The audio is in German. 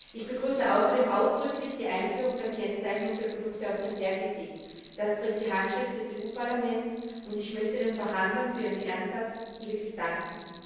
Ich begrüße außerdem ausdrücklich die Einführung der Kennzeichnung für Produkte aus dem Berggebiet. Das trägt die Handschrift des Europäischen Parlaments, und ich möchte den Verhandlern für ihren Einsatz wirklich danken.